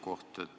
Proua Simson!